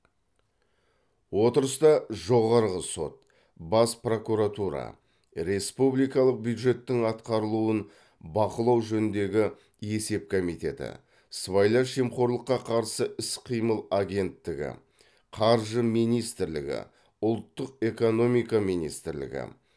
отырыста жоғарғы сот бас прокуратура республикалық бюджеттің атқарылуын бақылау жөніндегі есеп комитеті сыбайлас жемқорлыққа қарсы іс қимыл агенттігі қаржы министрлігі ұлттық экономика министрлігі